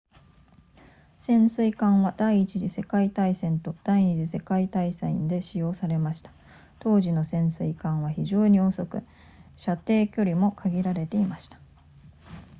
潜水艦は第一次世界大戦と第二次世界大戦で使用されました当時の潜水艦は非常に遅く射程距離も限られていました